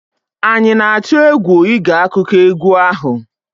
anyị na-atụ egwu ịge akụkọ egwu ahụ?